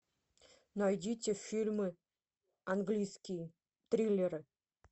найдите фильмы английские триллеры